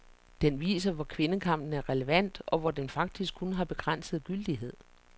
Den viser hvor kvindekampen er relevant, og hvor den faktisk kun har begrænset gyldighed.